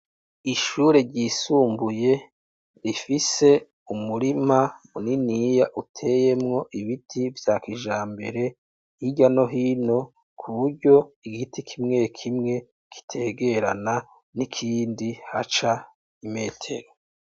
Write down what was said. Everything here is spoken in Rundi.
Ishure ryisumbuye rifise umurima muniniya uteyemwo ibiti vya kijambere hirya no hino kuburyo igiti kimwe kimwe kitegerana n'ikindi haca imetero.